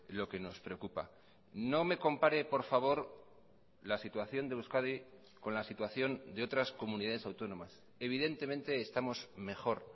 lo que nos preocupa no me compare por favor la situación de euskadi con la situación de otras comunidades autónomas evidentemente estamos mejor